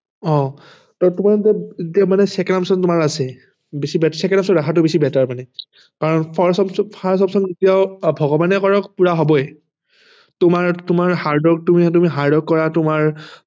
অহ second option তোমাৰ আছে বেছি ভাগ second option ৰাখাটো বেছি better মানে কাৰন first option first option তো কিয় ভগবানে কৰক পুৰা হবই তোমাৰ hardwork তুমি hardwork কৰা তোমাৰ